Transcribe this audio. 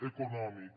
econòmic